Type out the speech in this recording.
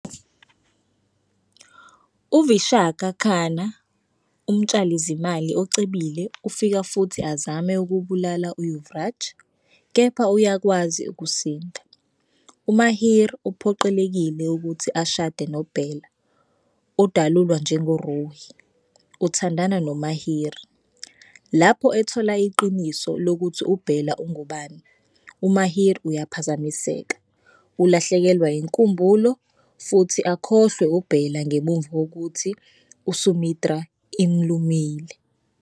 UVishaka Khanna, umtshalizimali ocebile ufika futhi azame ukubulala uYuvraj, kepha uyakwazi ukusinda. UMahir uphoqelekile ukuthi ashade noBela odalulwa njengoRuhi. Uthandana noMahir. Lapho ethola iqiniso lokuthi uBela ungubani, uMahir uyaphazamiseka. Ulahlekelwa yinkumbulo futhi akhohlwe uBela ngemuva kokuthi iSumitra imlumile.